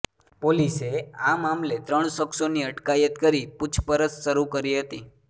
પોલીસે આ મામલે ત્રણ શખ્સોની અટકાયત કરી પૂછપરછ શરૂ કરી હતી